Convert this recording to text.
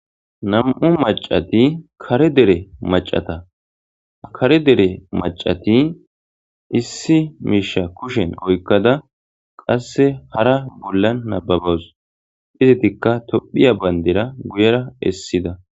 nam7u macati kare dere macata kare dere macati issi miisha kushen oykkada qasse hara bollan nababaws izitikka tophiya bayndera guyera essida